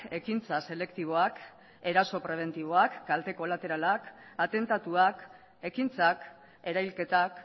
ekintza selektiboak eraso prebentiboak kalte kolateralak atentatuak ekintzak erailketak